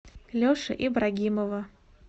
леши ибрагимова